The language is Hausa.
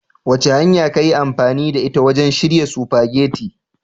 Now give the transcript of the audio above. Wace hanya ka yi amfani da ita wajen shirya spaghetti?